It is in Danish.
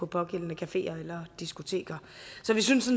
pågældende cafeer eller diskoteker så vi synes